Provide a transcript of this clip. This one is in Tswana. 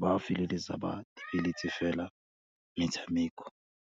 ba feleletsa ba fela metshameko.